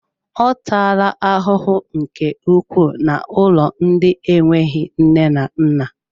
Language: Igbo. Ọ taala ahụhụ nke ukwuu n'ụlọ ndị enweghị nne na nna